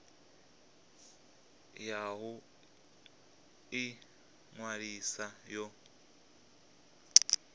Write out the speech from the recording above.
ya u ḓi ṅwalisa yo